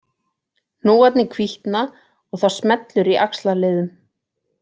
Hnúarnir hvítna og það smellur í axlarliðum